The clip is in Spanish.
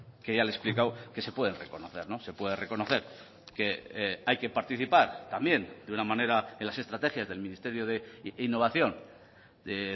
que ya le he explicado que se pueden reconocer se puede reconocer que hay que participar también de una manera en las estrategias del ministerio de innovación de